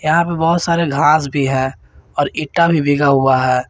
यहां पे बहुत सारे घास भी है और ईटा भी बिगा हुआ है।